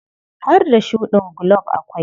Har da shuɗin gulob akwai.